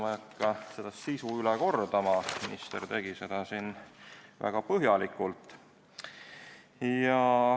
Ma ei hakka eelnõu sisu üle kordama, minister tegi seda siin väga põhjalikult.